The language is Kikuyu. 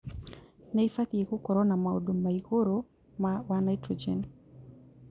Nĩibatie gũkorwo na maũndũ na igũrũ wa naitrojeni